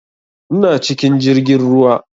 Ina cikin jirgin ruwa